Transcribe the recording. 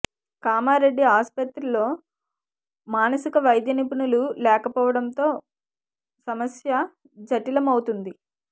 కామారెడ్డి ఆసుపత్రిలో మానసిక వైద్య నిపుణులు లేకపోవడంతో సమస్య జటిలమవుతుంది